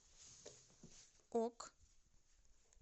ок